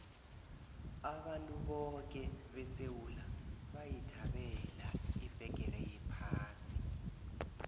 abantu boke besewula bayithabela ibheqere yephasi